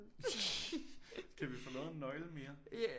Kan vi få lavet en nøgle mere